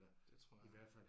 Det tror jeg